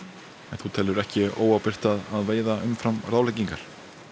en telurðu ekki óábyrgt að veiða umfram ráðleggingar